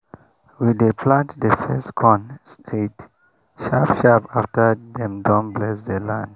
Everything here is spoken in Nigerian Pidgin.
we dey plant the first corn seed sharp sharp after dem don bless the land.